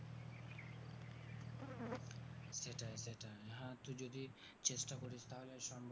সেটাই সেটাই, হ্যাঁ তুই যদি চেষ্টা করিস তাহলে সম্ভব।